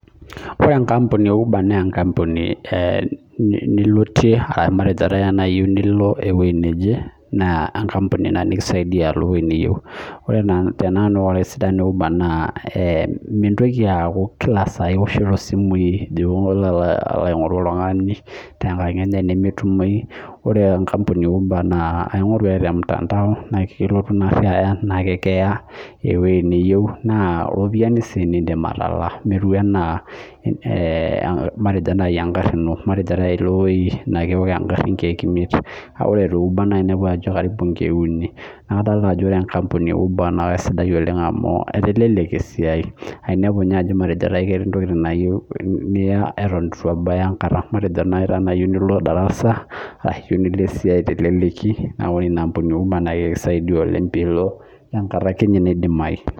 Wore enkampuni e Uber naa enkampuni nilotie ashu matejo naai tena iyieu nilo ewoji naje. Naa enkampuni inia nikisaidia alo ewoji niyieu. Wore tenanu wore esidano e Uber naa, mintoki aaku kila saa iwoshito isimui pee ilo alo aingorru oltungani tenkang enye, nemetumoi. Wore enkampuni e Uber naa aingorru ake te mtandao naa ekilotu iniari aya, naa ekiya ewoji niyieu naa iropiyani sii niidim atalaa. Metiui enaa matejo naaji enkarri ino. Matejo naaji ilo ewoji naa kewok enkari inkiek imiet. Kake wore te Uber naa iniapu ajo inkiek uni. Neeku kadoolta ajo wore enkampuni e Uber naa kaisidai oleng' amu etelelekia esiai. Ainiapu ninye ajo matejo naai ketii intokitin naa iyieu niya eton itu ebaya enkata. Matejo naaji tenaa iyieu nilo darasa arashu nilo esiai teleleki. Naa wore ina ampuni e Uber naa ekisaidia oleng' pee ilo enkata akeninye naidimai.